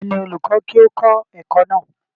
ta ni olùkọ́ kí ó kọ́ ẹ̀kọ́ náà?